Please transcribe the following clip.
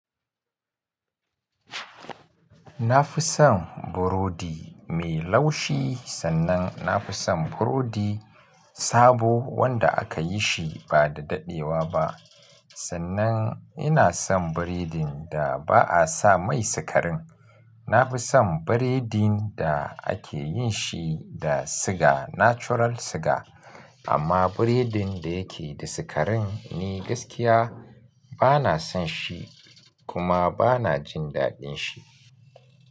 Na fi son burodi mai laushi, sannan na fi son burodi sabo wanda aka yi shi ba da daɗewa ba. Sannan ina son biredin da ba a sa mai sikarin. Na fi son biredin da ake yin shi da siga, natural siga. Amma biredin da yake da sikarin, ni gaskiya ba na son shi kuma ba na jin daɗin shi.